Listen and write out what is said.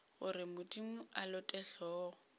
gore modimo a lote hlogo